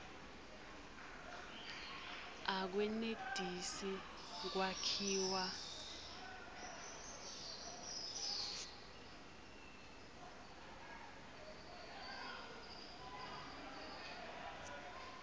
akwenetisi kwakhiwa